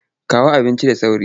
Kawo abincin da sauri!